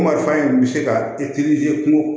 Marifa in bɛ se ka kun